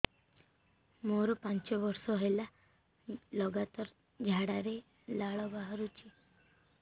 ମୋରୋ ପାଞ୍ଚ ବର୍ଷ ହେଲା ଲଗାତାର ଝାଡ଼ାରେ ଲାଳ ବାହାରୁଚି